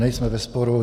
Nejsme ve sporu.